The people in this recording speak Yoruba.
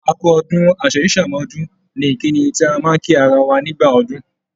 "A kú ọdún, Àṣèyíṣàmọ́dún" ni ìkíni tí a máa ń kí ara wa nígbà ọdún